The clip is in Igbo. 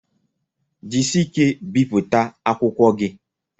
Jisie ike bipụta akwụkwọ gi!